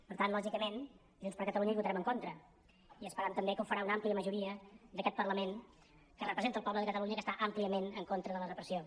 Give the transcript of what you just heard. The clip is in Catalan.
per tant lògicament junts per catalunya hi votarem en contra i esperam també que ho farà una àmplia majoria d’aquest parlament que representa el poble de catalunya i que està àmpliament en contra de la repressió